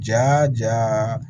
Ja